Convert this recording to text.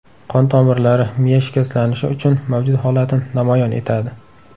Qon tomirlari, miya shikastlanishi uchun mavjud holatni namoyon etadi.